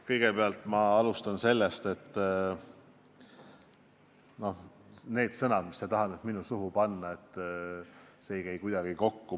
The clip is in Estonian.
Kõigepealt ma alustan sellest, et need sõnad, mis sa tahad nüüd minu suhu panna, ei käi kuidagi minu öelduga kokku.